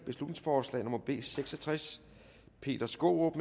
beslutningsforslag nummer b seks og tres peter skaarup